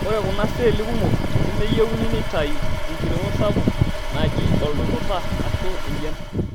Ore kuna seli kumok nemeyieuni neitayu enkiringo sapuk naji oldututa ashu enjian.